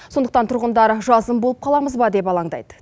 сондықтан тұрғындар жазым болып қаламыз ба деп алаңдайды